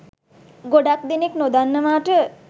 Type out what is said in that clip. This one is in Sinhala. ගොඩක් දෙනෙක් නොදන්නවාට